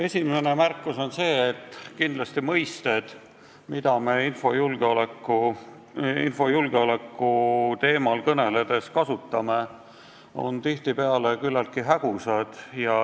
Esimene märkus on see, et mõisted, mida me infojulgeoleku teemal kõneledes kasutame, on tihtipeale küllaltki hägusad.